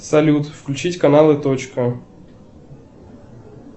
салют включить каналы точка